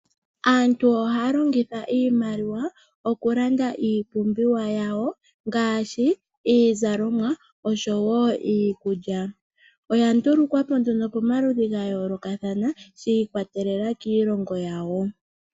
Aantu ohaya longitha iimaliwa, okulanda iipumbiwa yawo ngaashi, iizalomwa noshowo iikulya. Oya ndulukwapo nduno komaludhi gayoolokathana, shi ikwatelela kiilongo yawo.